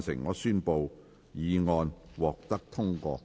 我宣布議案獲得通過。